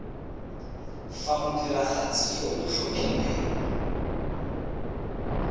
fa modiragatsi yo o tlhophilweng